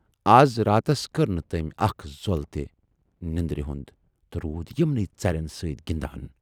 از راتس کٔر نہٕ تمٔۍ اکھ زۅل تہِ نٮ۪ندٕر تہٕ روٗد یِمنٕے ژرٮ۪ن سٍتۍ گِندان۔